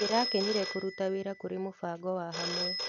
Ndĩrakenire kũruta wĩra kũrĩ mũbango wa hamwe.